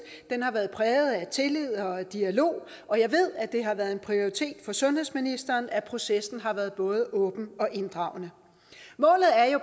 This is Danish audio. har været præget af tillid og dialog og jeg ved at det har været en prioritet for sundhedsministeren at processen har været både åben og inddragende målet er jo